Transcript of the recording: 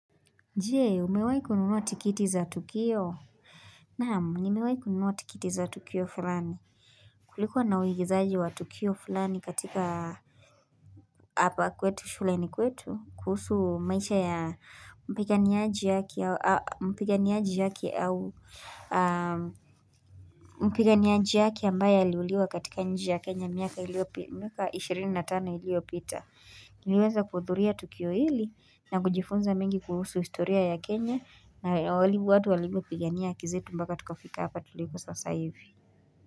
Je, umewai kununua tikiti za tukio? Naam, nimewai kununuwa tikiti za tukio fulani. Kulikuwa na uwigizaji wa tukio fulani katika apa kwetu shuleni kwetu, kuhusu maisha ya mpiganiaji mpiganiaji yake ambaye aliuliwa katika nchi ya Kenya miaka 25 iliyopita. Niliweza kuhudhuria tukio hili na kujifunza mengi kuhusu historia ya Kenya na walivyo watu walivyo pigania haki zetu mbaka tukafika hapa tulipo sasa hivi.